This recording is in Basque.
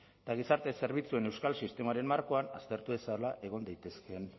eta gizarte zerbitzuen euskal sistemaren markoan aztertu dezala egon daitezkeen